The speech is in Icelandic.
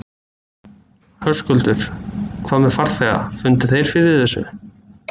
Höskuldur: Hvað með farþega, fundu þeir fyrir þessu?